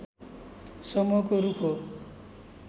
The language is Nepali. समूहको रूख हो